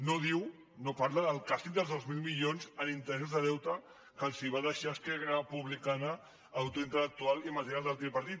no diu no parla del càstig dels dos mil milions en interessos de deute que els va deixar esquerra re·publicana autor intel·lectual i material del tripartit